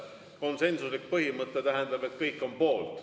Konsensuslik põhimõte tähendab, et kõik on poolt.